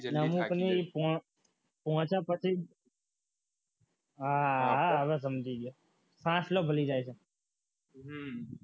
નવું તો નહીં પહોંચ્યા પછી આ હવે સમજી ગયા પાછલો ભૂલી જાય છે